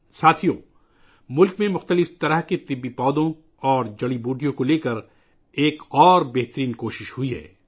ساتھیو ، ملک میں مختلف قسم کے ادویاتی پودوں اور جڑی بوٹیوں کے حوالے سے ایک اور شاندار کوشش کی گئی ہے